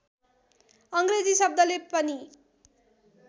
अङ्ग्रेजी शब्दले पनि